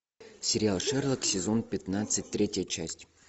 сериал шерлок сезон пятнадцать третья часть